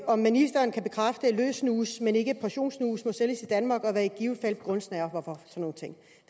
om ministeren kan bekræfte at løs snus men ikke portionssnus må sælges i danmark og hvad i givet fald begrundelsen er herfor